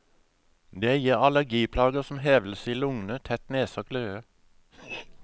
Det gir allergiplager, som hevelse i lungene, tett nese og kløe.